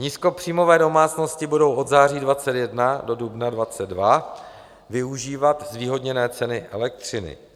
Nízkopříjmové domácnosti budou od září 2021 do dubna 2022 využívat zvýhodněné ceny elektřiny.